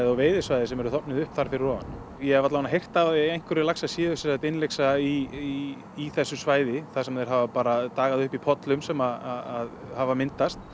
og veiðisvæði sem eru þornuð upp þar fyrir ofan ég hef alla vegnana heyrt að einhverjir laxar séu innlyksa í í þessu svæði þar sem er þeir hafa bara dagað uppi í pollum sem hafa myndast